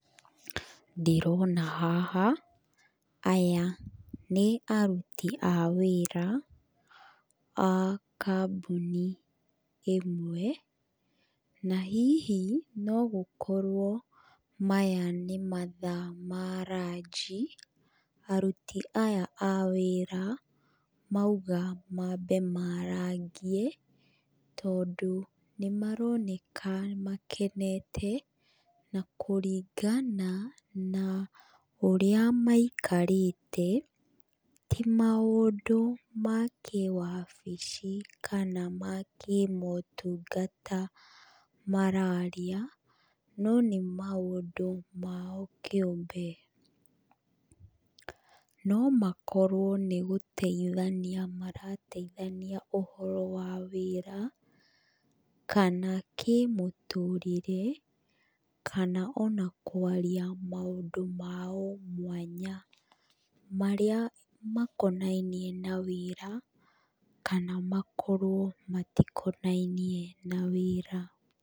Ndĩrona haha aya nĩ aruti a wĩra a kambuni ĩmwe, na hihi nogũkorwo maya nĩ mathaa ma ranji aruti aya a wĩra mauga mambe marangie, tondũ nĩmaroneka makenete. Na kũringana na ũrĩa maikarĩte, ti maũndũ ma kĩwabici kana ma kĩmotungata mararia, no nĩ maũndũ mao kĩũmbe. No makorwo nĩ gũteithania marateithania ũhoro wa wĩra kana kĩmũtũrĩre kana ona kwaria maũndũ mao mwanya marĩa makonainie na wĩra kana makorwo matikonainie na wĩra.